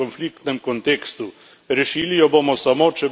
Rešili jo bomo samo, če bomo izboljšali kontekst.